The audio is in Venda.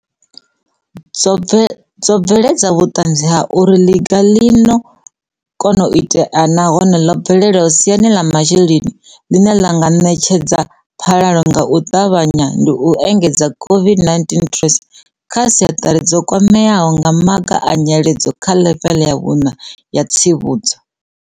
dzo bve ledza vhuṱanzi ha uri ḽiga ḽi no kona u itea nahone ḽi bvelelaho siani ḽa masheleni, ḽine ḽa nga ṋetshedza phalalo nga u ṱavha nya ndi u engedza COVID-19 TERS kha sekhithara dzo kwameaho nga maga a nyiledzo dza ḽeveḽe ya vhuṋa ya tsivhudzo.